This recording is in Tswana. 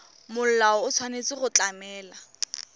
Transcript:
molao o tshwanetse go tlamela